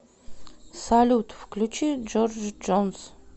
салют включи джордж джонс